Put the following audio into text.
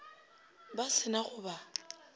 ba se na go ba